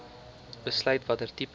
besluit watter tipe